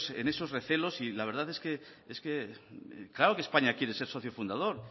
en esos recelos y la verdad claro que españa quiere ser socio fundador